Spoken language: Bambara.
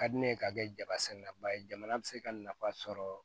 Ka di ne ye ka kɛ jaba sɛnɛ na ba ye jamana bɛ se ka nafa sɔrɔ